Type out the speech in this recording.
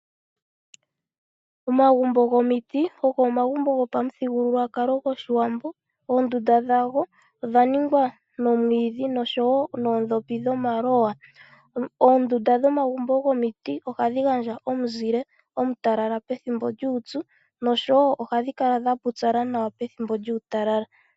Omagumbo gomiti ogo omagumbo gopamuthigululwakalo gwoshiwambo. Oondunda dhago odhaningwa momwiidhi noshowo noondhopi dhomaloya . Oondunda dhomagumbo gomiti ohadhi gandja omuzile omutalala opethimbo lyuupyu noshowo ohadhi kala dha pupyala nawa pethimbo lyuutalala .